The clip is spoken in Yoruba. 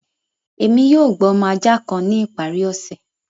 Ẹmi yóò gbà ọmọ ajá kàn ni ìparí òṣẹ